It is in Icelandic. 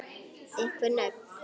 Einhver nöfn?